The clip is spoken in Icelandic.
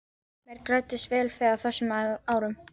Mér græddist vel fé á þessum árum.